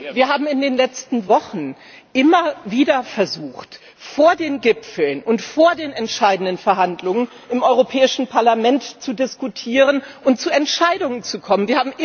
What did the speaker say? Wir haben in den letzten Wochen immer wieder versucht, vor den Gipfeln und vor den entscheidenden Verhandlungen im Europäischen Parlament zu diskutieren und zu Entscheidungen zu kommen.